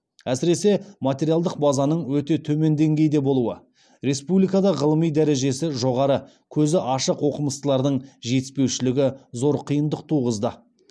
әсіресе материалдық базаның өте төмен деңгейде болуы республикада ғылыми дәрежесі жоғары көзі ашық оқымыстылардың жетіспеушілігі зор қиындық туғызды